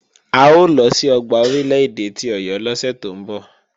A ó lọ sí ọgbà Orílè-èdè ti Ọ̀yọ́ lọ́sẹ̀ tó ń bọ̀.